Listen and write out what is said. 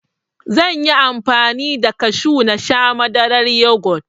Zanyi amfani da kashu nasha Madaran yugot